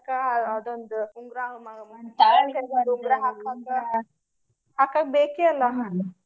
ಅದೊಂದ ಉಂಗರಾ ಉಂಗರಾ ಹಾಕಾಕ. ಹಾಕಾಕ ಬೇಕೆ ಅಲ್ಲಾ .